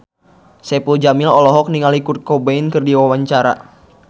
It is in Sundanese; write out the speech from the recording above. Saipul Jamil olohok ningali Kurt Cobain keur diwawancara